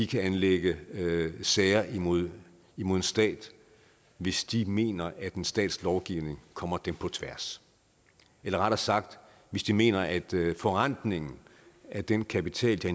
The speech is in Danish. kan anlægge sager imod imod en stat hvis de mener at en stats lovgivning kommer dem på tværs eller rettere sagt hvis de mener at forrentningen af den kapital